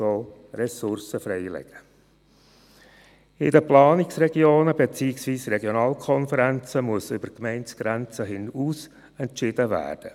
In den Planungsregionen beziehungsweise Regionalkonferenzen muss über Gemeindegrenzen hinaus entschieden werden.